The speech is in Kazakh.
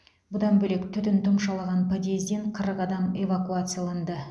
бұдан бөлек түтін тұмшалаған подъезден қырық адам эвакуацияланды